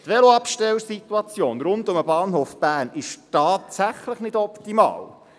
Die Veloabstellsituation rund um den Bahnhof Bern ist tatsächlich nicht optimal.